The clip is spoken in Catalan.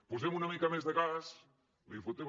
posem una mica més de gas li fotem